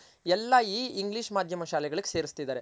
ಎಲ್ಲ ಎಲ್ಲಾ ಈ English ಮಾಧ್ಯಮ ಶಾಲೆಗಳಿಗ್ ಸೇರಸ್ತಿದರೆ